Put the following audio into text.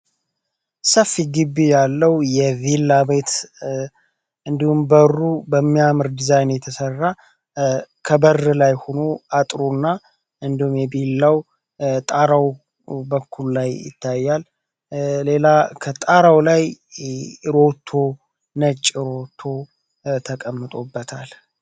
ሰፊ ግቢ ያለው የቪላ ቤት እንዲሁም፤ በሩ በሚያምር ዲዛይን የተሰራ ከበር ላይ ሆኖ አጥሩና እንዲሁ የቪላው ጣራው በኩል ላይ ይታያል። ሌላ ከጣራው ላይ ሮቶ ነጭ ሮቶ ተቀምጦበታል።